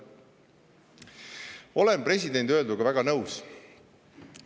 " Olen presidendi öelduga väga nõus.